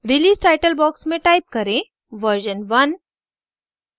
release title box में type करें version one